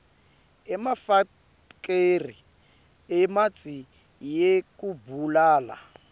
emafekthri emitsi yekubulala